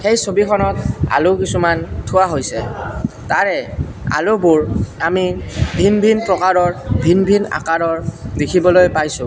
এই ছবিখনত আলু কিছুমান থোৱা হৈছে তাৰে আলুবোৰ আমি ভিন ভিন প্ৰকাৰৰ ভিন ভিন আকাৰৰ দেখিবলৈ পাইছোঁ।